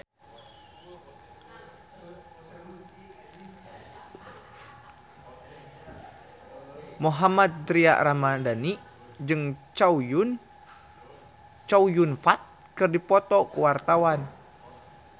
Mohammad Tria Ramadhani jeung Chow Yun Fat keur dipoto ku wartawan